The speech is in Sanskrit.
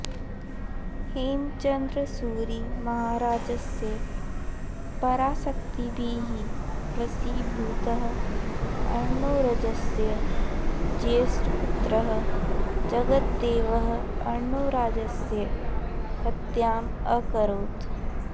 हेमचन्द्रसूरिमहाराजस्य पराशक्तिभिः वशीभूतः अर्णोरजस्य ज्येष्ठपुत्रः जगद्देवः अर्णोराजस्य हत्याम् अकरोत्